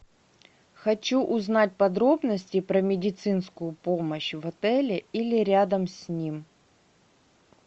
хочу узнать подробности про медицинскую помощь в отеле или рядом с ним